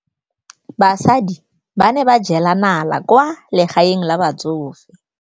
Basadi ba ne ba jela nala kwaa legaeng la batsofe.